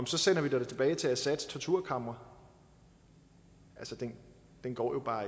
så sender vi dig da tilbage til assads torturkamre det går jo bare